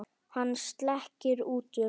Hann sleikir út um.